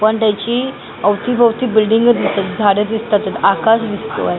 पण त्याची अवतीभवती बिल्डिंग दिसतायेत झाडे दिसतातय आकाश दिसतोय.